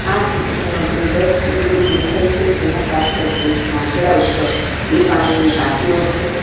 આ ચીત્રમાં બે બસ ઉભેલી દેખાય છે જેના પાછળ એક માંચળા ઉપર બે પાણીની ટાંકીઓ છે.